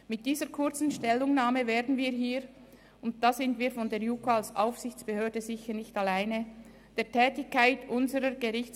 Mit dieser kurzen Stellungnahme werden wir hier der Tätigkeit unserer Gerichtsbehörden und der Staatsanwaltschaft nicht gerecht.